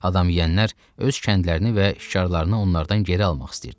Adam yeyənlər öz kəndlərini və şikarını onlardan geri almaq istəyirdilər.